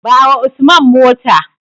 Bawa Usman mota.